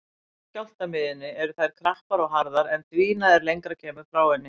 Næst skjálftamiðjunni eru þær krappar og harðar en dvína er lengra kemur frá henni.